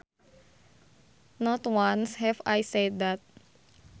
Not once have I said that